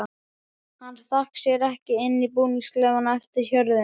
Hann stakk sér ekki inn í búningsklefann á eftir hjörðinni.